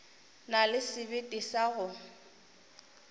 na le sebete sa go